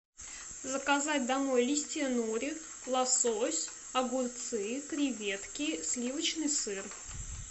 заказать домой листья нори лосось огурцы креветки сливочный сыр